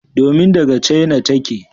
Domin daga China take.